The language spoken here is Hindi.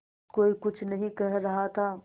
कोई कुछ नहीं कह रहा था